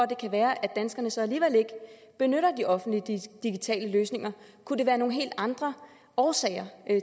det kan være at danskerne så alligevel ikke benytter de offentlige digitale løsninger kunne der være nogle helt andre årsager